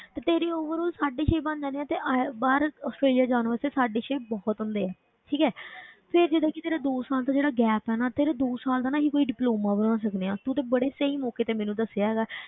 ਤੇ ਤੇਰੀ overall ਸਾਢੇ ਛੇ ਬਣ ਜਾਣੇ ਆਂ ਤੇ ਆਇ~ ਬਾਹਰ ਆਸਟ੍ਰੇਲੀਆ ਜਾਣ ਵਾਸਤੇ ਸਾਢੇ ਛੇ ਬਹੁਤ ਹੁੰਦੇ ਹੈ, ਠੀਕ ਹੈ ਫਿਰ ਜਿਹੜਾ ਕਿ ਤੇਰਾ ਦੋ ਸਾਲ ਦਾ ਜਿਹੜਾ gap ਹੈ ਨਾ, ਤੇਰਾ ਦੋ ਸਾਲ ਦਾ ਨਾ ਅਸੀਂ ਕੋਈ diploma ਬਣਾ ਸਕਦੇ ਹਾਂ, ਤੂੰ ਤੇ ਬੜੇ ਸਹੀ ਮੌਕੇ ਤੇ ਮੈਨੂੰ ਦੱਸਿਆ ਹੈਗਾ,